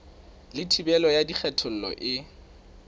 le thibelo ya kgethollo e